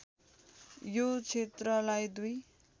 यो क्षेत्रलाई दुई